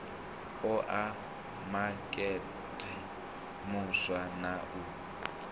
oa makete muswa na u